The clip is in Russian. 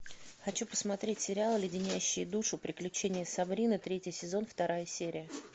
хочу посмотреть сериал леденящие душу приключения сабрины третий сезон вторая серия